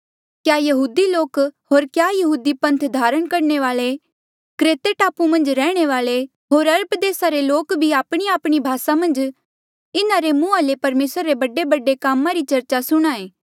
क्या यहूदी लोक होर क्या यहूदी पन्थ धारण करणे वाले क्रेते टापू मन्झ रैहणे वाले होर अरब देसा रे लोक भी आपणीआपणी भासा मन्झ इन्हा रे मुहां ले परमेसरा रे बडेबडे कामा री चरचा सुणहां ऐें